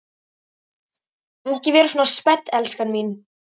Ekki vera svona spennt, elskan mín.